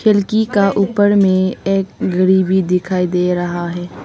खिड़की का ऊपर में एक घड़ी भी दिखाई दे रहा है।